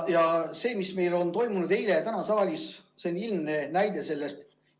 Ja see, mis on toimunud eile ja täna siin saalis, see on ilmselge näide sellest.